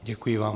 Děkuji vám.